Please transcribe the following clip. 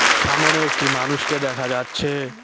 সামোনে একটি মানুষকে দেখা যাচ্ছে।